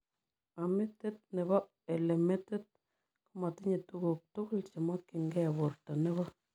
Amidit nepoo elemedit komatinye tuguk tugul chemokyiin gei portoo nepo